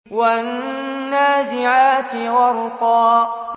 وَالنَّازِعَاتِ غَرْقًا